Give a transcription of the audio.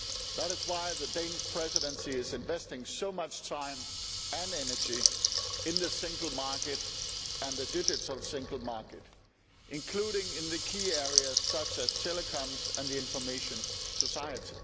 That is why the Danish Presidency is investing so much time and energy in the single market and the digital single market, including in key areas such as telecoms and the information society.